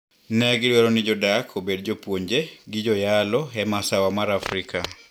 Negidwaro ni jodak obed jopuonje gi joyalo e masawa mar Afrika.